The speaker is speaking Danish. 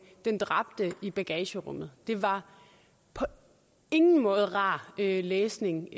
den dræbte i bagagerummet det var på ingen måde rar læsning